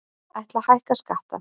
Ætla að hækka skatta